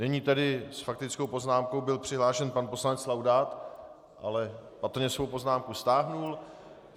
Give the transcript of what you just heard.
Nyní tedy s faktickou poznámkou byl přihlášen pan poslanec Laudát, ale patrně svou poznámku stáhl.